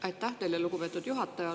Aitäh teile, lugupeetud juhataja!